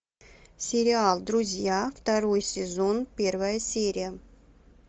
сериал друзья второй сезон первая серия